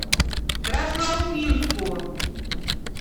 красноуфимску